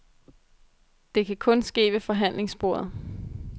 Det kan kun ske ved forhandlingsbordet.